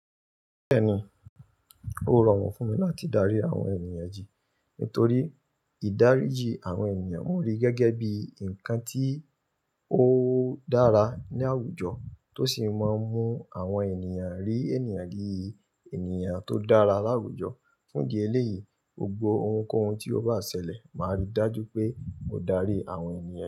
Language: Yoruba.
Bẹ́ẹ̀ni, ó rọrùn fún mi láti daríji àwọn ènìyàn yí nítorí ìdáríjì àwọn ènìyàn mo rí gẹ́gẹ́ bí nǹkan tí ó dára ní àwùjọ tó sì máa ń mú àwọn ènìyàn rí ènìyàn bi ènìyàn tó dára láwùjọ. Fún di ẹlẹ́yìí, gbogbo ohunkóhun tí ó bá ṣẹlẹ̀ máa rí dájú pé ó darí àwọn ènìyàn.